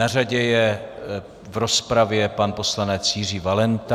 Na řadě je v rozpravě pan poslanec Jiří Valenta.